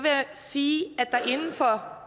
sige